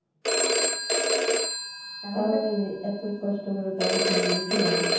তাহলে যে এত কষ্ট করে পড়াশোনা করে কি লাভ?